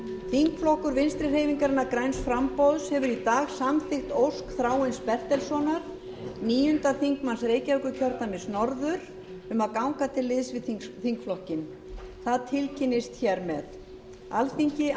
þingflokkur vinstri hreyfingarinnar græns framboðs hefur í dag samþykkt ósk þráins bertelssonar níundi þingmaður reykjavíkurkjördæmis norður um að ganga til liðs við þingflokkinn það tilkynnist hér með alþingi